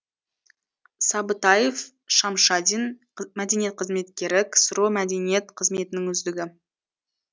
сабытаев шамшадин мәдениет қызметкері ксро мәдениет қызметінің үздігі